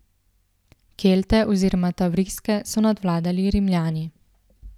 Kelte oziroma Tavriske so nadvladali Rimljani.